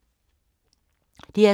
DR2